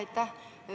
Aitäh!